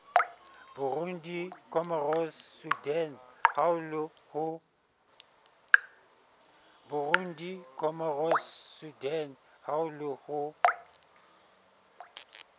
burundi comoros sudan haolo ho